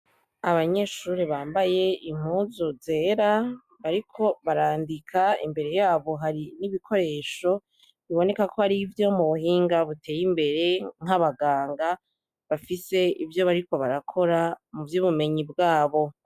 Abanyeshure bambaye impuzu zera bariko barandika imbere yabo hari n'ibikoresho bibonekako arivyo mubuhinga buteye imbere nkabaganga bafise ivyo bariko barakora mu vyubumenyi bwabo.